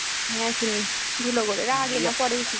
হ্যা চিনি ধুলাগড়ের আগে না পরে